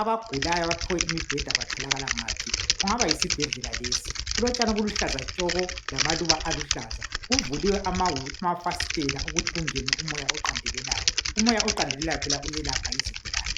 .Abagulayo abaphiwe imibheda batholakala ngaphi .Kungaba yisibhedlela lesi .Kulotshani obuluhlaza tshoko lamaluba aluhlaza .Kuvuliwe amafasitela ukuthi kungene umoya oqandelelayo .Umoya oqandelelayo phela uyelapha izigulane .